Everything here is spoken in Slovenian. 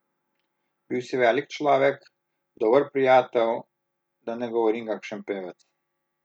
Bil si velik človek, dober prijatelj, da ne govorim kakšen pevec ...